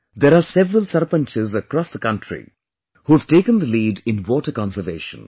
There are several Sarpanchs across the country who have taken the lead in water conservation